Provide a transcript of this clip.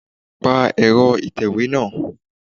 Pa ẹ̀rọ ìtẹ̀wé náà